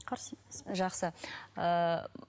қарсы емепін жақсы ыыы